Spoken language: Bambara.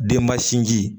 Denba sinji